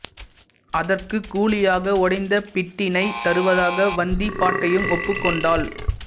அதற்கு கூலியாக உடைந்த பிட்டினை தருவதாக வந்திப்பாட்டியும் ஒப்புக் கொண்டாள்